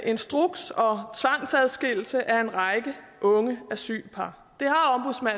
instruks og tvangsadskillelse af en række unge asylpar